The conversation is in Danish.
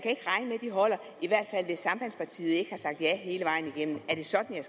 de holder i hvert fald hvis sambandspartiet ikke har sagt ja hele vejen igennem er det sådan